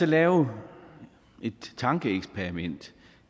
lave et tankeeksperiment